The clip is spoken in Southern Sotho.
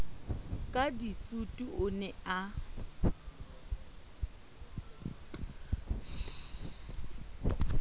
ka disutu o ne a